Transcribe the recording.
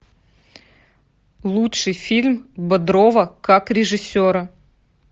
лучший фильм бодрова как режиссера